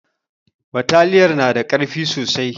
Bataliyar na da ƙarfi sosai